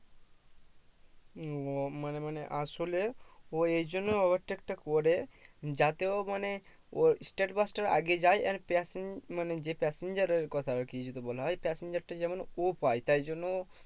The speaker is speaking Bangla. ও মানে মানে আসলে ও এই জন্য overtake টা করে যাতে ও মানে ওর state bus টার আগে যায় আর passen মানে যে passenger এর কথা আর কি যদি বলা হয় passenger টা যেমন ও পায়ে তাই জন্য